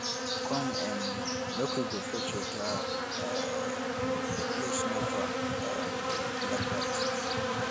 come um make we go fetch water um the place no far um like dat